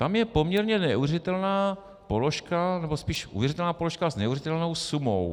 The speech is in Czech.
Tam je poměrně neuvěřitelná položka, nebo spíš uvěřitelná položka s neuvěřitelnou sumou.